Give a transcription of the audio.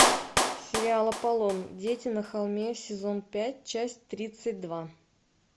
сериал аполлон дети на холме сезон пять часть тридцать два